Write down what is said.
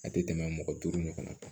A tɛ tɛmɛ mɔgɔ duuru ɲɔgɔn kan